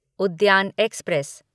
उद्यान एक्सप्रेस